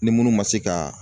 Ni munnu ma se kaa